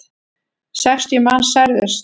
Sextíu manns særðust.